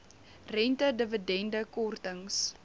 rente dividende kortings